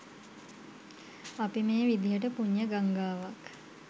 අපි මේ විදිහට පුණ්‍ය ගංගාවක්